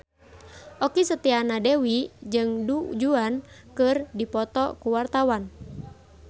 Okky Setiana Dewi jeung Du Juan keur dipoto ku wartawan